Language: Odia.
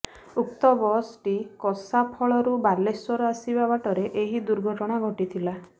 ଉକ୍ତ ବସଟି କସାଫଳରୁ ବାଲେଶ୍ୱର ଆସିବା ବାଟରେ ଏହି ଦୁର୍ଘଟଣା ଘଟିଥିଲା